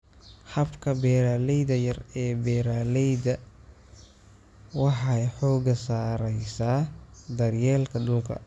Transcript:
Habka beeralayda yar ee beeralayda waxay xooga saaraysaa daryeelka dhulka.